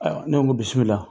Ayiwa, ne ko bisimila.